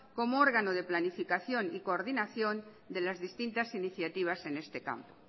como órgano de planificación y coordinación de las distintas iniciativas en este campo